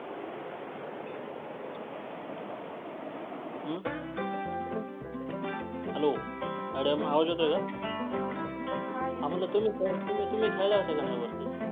हं hello madam आवाज येतोय का? हा म्हंटल तुम्ही तुम्ही खेळल्या होत्या का नाही वरती?